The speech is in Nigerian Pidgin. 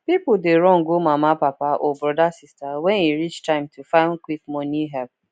people dey run go mama papa or brothersister when e reach time to find quick money help